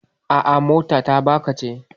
A'a, mota ta baƙa ce.